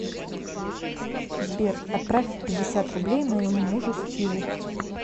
сбер отправь пятьдесят рублей моему мужу стиву